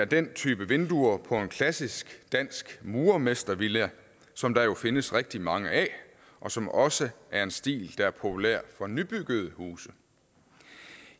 den type vinduer på en klassisk dansk murermestervilla som der findes rigtig mange af og som også er en stil der er populær for nybyggede huse